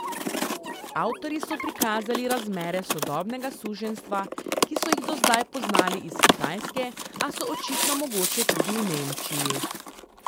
Avtorji so prikazali razmere sodobnega suženjstva, ki so jih do zdaj poznali iz Kitajske, a so očitno mogoče tudi v Nemčiji.